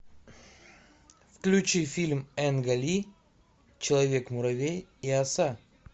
включи фильм энга ли человек муравей и оса